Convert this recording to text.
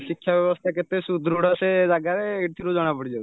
ଶିକ୍ଷା ବ୍ୟବସ୍ତା କେତେ ସୁଦୃଢ ସେ ଜାଗାରେ ଏଥିରୁ ଜଣାପଡିଯାଉଛି